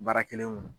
Baara kɛlen kɔnɔ